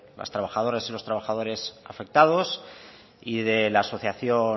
las trabajadoras y los trabajadores afectados y de la asociación